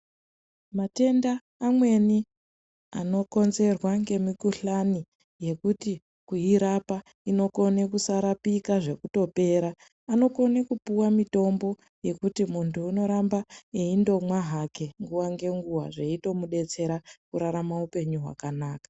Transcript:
Matenda amweni ano konzerwa nge mu kuhlani yekuti kuirapa inokone kusarapika zvekuto pera anokone kupiwa mitombo yekuti muntu unoramba eindo mwa nguva nge nguva zveitomu detsera kurarama upenyu hwakanaka.